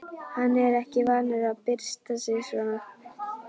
Hann er ekki vanur að byrsta sig svona.